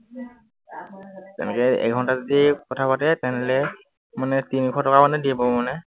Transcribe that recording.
এনেকে এঘন্টা যদি কথা পাতে, তেনেহলে মানে তিনিশ টকা মানে দিব মানে